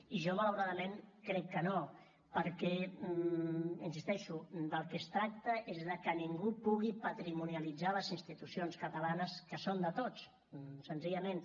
i jo malauradament crec que no perquè hi insisteixo del que es tracta és de que ningú pugui patrimonialitzar les institucions catalanes que són de tots senzillament